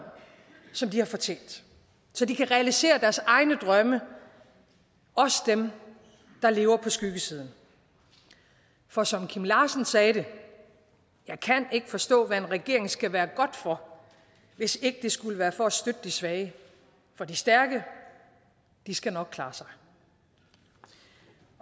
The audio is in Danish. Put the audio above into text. som de har fortjent så de kan realisere deres egne drømme også dem der lever på skyggesiden for som kim larsen sagde det jeg kan ikke forstå hvad en regering skal være godt for hvis ikke det skulle være for at støtte de svage for de stærke skal nok klare sig